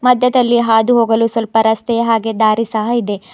ಮಧ್ಯದಲ್ಲಿ ಹಾದುಹೋಗಲು ಸ್ವಲ್ಪ ರಸ್ತೆ ಹಾಗೆ ದಾರಿ ಸಹ ಇದೆ.